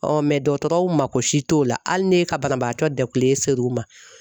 dɔgɔtɔrɔw mako si t'o la hali ne ka banabaatɔ dakule ser'u ma.